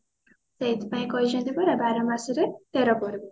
ସେଇଥିପାଇଁ କହିଛନ୍ତି ପରା ବାର ମାସ ରେ ତେର ପର୍ବ